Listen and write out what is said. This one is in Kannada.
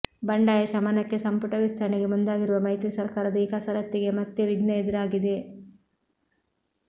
ಬಂಡಾಯ ಶಮನಕ್ಕೆ ಸಂಪುಟ ವಿಸ್ತರಣೆಗೆ ಮುಂದಾಗಿರುವ ಮೈತ್ರಿ ಸರ್ಕಾರದ ಈ ಕಸರತ್ತಿಗೆ ಮತ್ತೆ ವಿಘ್ನ ಎದುರಾಗಿದೆ